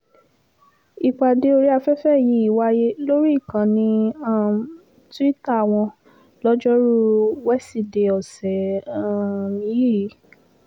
ìpàdé orí afẹ́fẹ́ yìí wáyé lórí ìkànnì um tuita wọn lojoruu wesidee ọ̀sẹ̀ um yìí